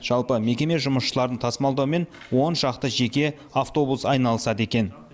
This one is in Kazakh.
жалпы мекеме жұмысшыларын тасымалдаумен он шақты жеке автобус айналысады екен